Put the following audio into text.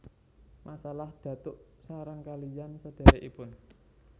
Masalah datuk sareng kaliyan sedherekipun